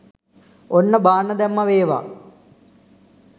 ඔන්න බාන්න දැම්මා වේවා